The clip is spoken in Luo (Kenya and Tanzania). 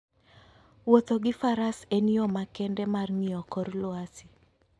Wuotho gi Faras en yo makende mar ng'iyo kor lwasi.